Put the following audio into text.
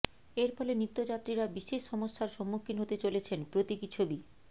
এরফলে নিত্যযাত্রীরা বিশেষ সমস্যার সম্মুখীন হতে চলেছেন প্রতীকী ছবি